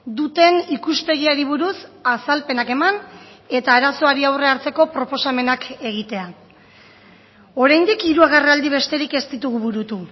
duten ikuspegiari buruz azalpenak eman eta arazoari aurre hartzeko proposamenak egitea oraindik hiru agerraldi besterik ez ditugu burutu